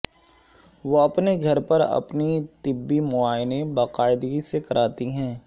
وہ اپنے گھر پر اپنی طبی معائنے باقاعدگی سے کراتی ہیں